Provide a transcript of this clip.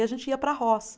E a gente ia para a roça.